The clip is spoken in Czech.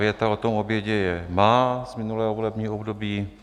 Věta o tom obědě je má z minulého volebního období.